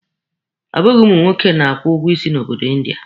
Ọ bụghị ụmụ nwoke na-akwụ ụgwọ isi na obodo India.